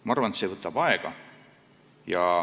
Ma arvan, et see võtab aega.